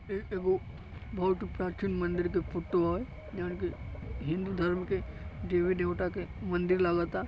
इ एगो बहुत प्राचीन मंदिर के फोटो ह जवन कि हिन्दू धर्म के देवी-देवता के मंदिर लागता।